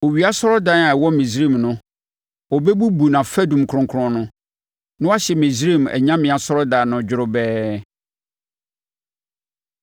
Owia asɔredan a ɛwɔ Misraim no, ɔbɛbubu nʼafadum kronkron no, na wahye Misraim anyame asɔredan no dworobɛɛ.’ ”